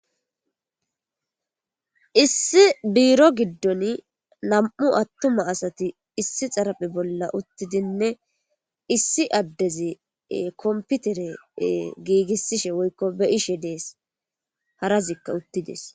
issi biro giddon nam'u attuma asati issi xaraphi bolla uttidinne issi addezi komputere giigissishe woykko be'ishe dees harazikka uttides